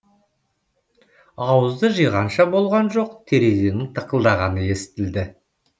ауызды жиғанша болған жоқ терезенің тықылдағаны естілді